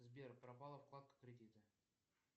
сбер пропала вкладка кредита